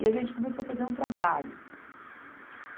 E a gente começou a fazer um trabalho.